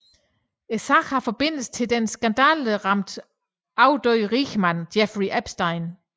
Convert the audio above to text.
Sagen har forbindelse til den skandaleramte afdøde rigmand Jeffrey Epstein